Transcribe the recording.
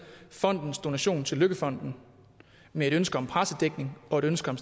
fondens donation til løkkefonden med et ønske om pressedækning og et ønske om